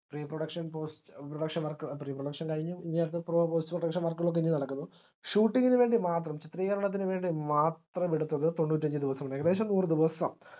reproduction post reproduction work reproduction കഴിഞ്ഞു ഇനി അടുത്ത pro production work കളൊക്കെ ഇനി നടക്കുന്നു shooting ന് വേണ്ടി മാത്രം ചിത്രീകരണത്തിന് വേണ്ടി മാത്രം എടുത്തത് തൊണ്ണൂറ്റഞ്ചു ദിവസം ഏകദേശം നൂറുദിവസം